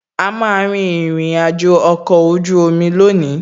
A má a rin ìrìnàjò ọkọ̀ ojú omi lónìí